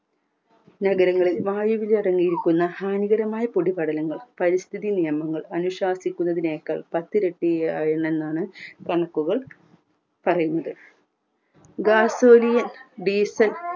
നഗരങ്ങളിൽ വായുവിലടങ്ങിയിരിക്കുന്ന ഭയങ്കരമായ പൊടിപടലങ്ങൾ പരിസ്ഥിതി നിയമങ്ങൾ അനുശാസിക്കുന്നതിനെയൊക്കെ പത്തിരട്ടി ആ യിൽ നിന്നാണ് കണക്കുകൾ പറയുന്നത്